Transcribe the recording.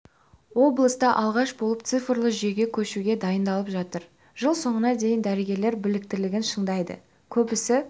облыста алғаш болып цифрлы жүйеге көшуге дайындалып жатыр жыл соңына дейін дәрігер біліктілігін шыңдайды көбісі